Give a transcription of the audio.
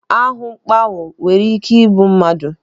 Ahụmkpọnwụ nwere ike igbu mmadụ.